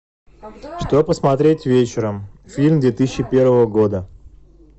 что посмотреть вечером фильм две тысячи первого года